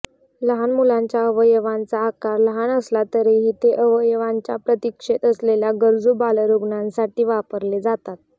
लहान मुलांच्या अवयवांचा आकार लहान असला तरीही ते अवयवांच्या प्रतीक्षेत असलेल्या गरजू बालरुग्णांसाठी वापरले जातात